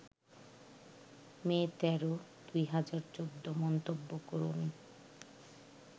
মে ১৩, ২০১৪মন্তব্য করুন